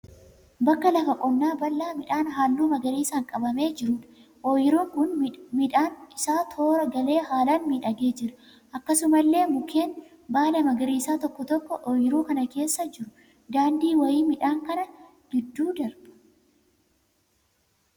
Bakka lafa qonnaa bal'aa midhaan halluu magariisaan qabamee jiruudha. Oyiruun kun midhaanni isaa toora galee haalaan miidhagee jira. Akkasumallee mukeen baala magariisaa tokko tokko oyiruu kana keessa jiru. Daandiin wayii midhaan kana gidduu darba.